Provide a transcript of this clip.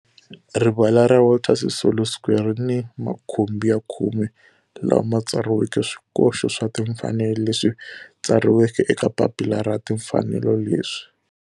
Rivala ra Walter Sisulu Square ri ni makhumbi ya khume lawa ma tsariweke swikoxo swa timfanelo leswi tsariweke eka papila ra timfanelo leswi.